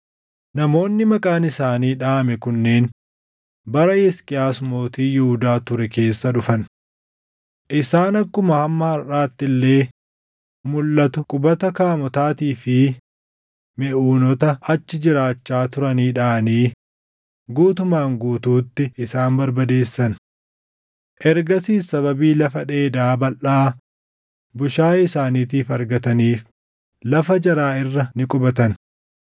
Namoonni maqaan isaanii dhaʼame kunneen bara Hisqiyaas mootii Yihuudaa ture keessa dhufan. Isaan akkuma hamma harʼaatti illee mulʼatu qubata Kaamotaatii fi Meʼuunoota achi jiraachaa turanii dhaʼanii guutumaan guutuutti isaan barbadeessan. Ergasiis sababii lafa dheedaa balʼaa bushaayee isaaniitiif argataniif lafa jaraa irra ni qubatan.